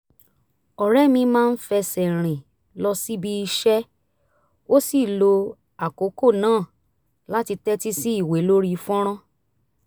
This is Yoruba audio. ọ̀rẹ́ mi máa ń fẹsẹ̀ rìn lọ síbi iṣẹ́ ó sì lo àkókò náà láti tẹ́tí sí ìwé lórí fọ́nrán